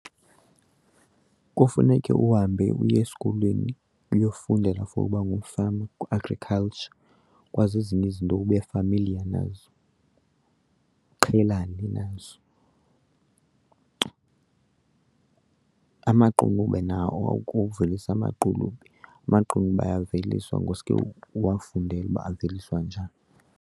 Kufuneke uhambe uye esikolweni uyofundela for uba ngumfama kwi-agriculture, ukwazi ezinye izinto ube familiar nazo, uqhelane nazo. Amaqunube nawo, ukuvelisa amaqunube, amaqunube ayaveliswa ngosuke uwafundele uba aveliswa njani.